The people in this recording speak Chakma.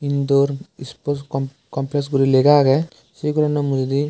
indoor iskul compasguri lega agey se gorano mujungedi.